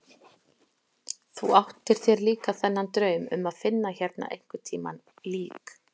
Þú áttir þér líka þennan draum um að finna hérna einhvern tíma lík.